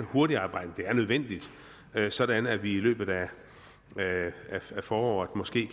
hurtigt arbejde det er nødvendigt sådan at vi i løbet af foråret måske